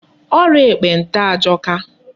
Ọrịa ekpenta ajọka.